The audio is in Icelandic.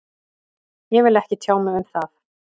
Ég vil ekki tjá mig um það